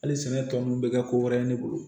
Hali sɛnɛ tɔ nunnu bɛ kɛ ko wɛrɛ ye ne bolo